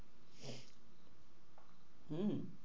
হম